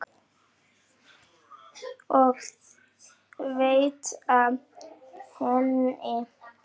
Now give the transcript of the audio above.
og veita henni.